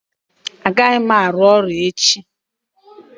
Agaghị m arụ ọrụ echi